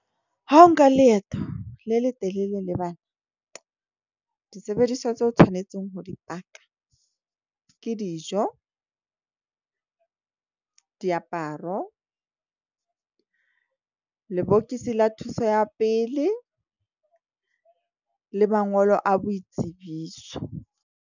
Ha o nka leeto le le telele le bana. Disebediswa tse o tshwanetseng ho dipaka ke dijo diaparo, lebokisi la thuso ya pele le mangolo a boitsebiso.